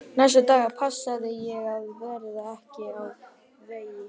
Næstu daga passaði ég að verða ekki á vegi